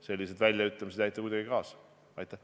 Sellised väljaütlemised ei aita kuidagi sellele kaasa.